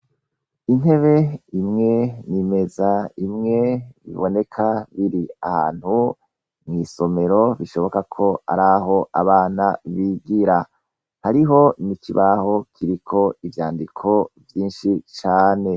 Intebe imwe n'imeza imwe biboneka biri ahantu mw'isomero bishoboka ko ari aho abana bigira hariho n'ikibaho kiriko ivyandiko vyinshi cane.